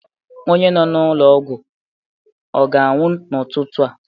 onye nọ n'ụlọ ọgwụ ọ ga-anwụ n'ụtụtụ a?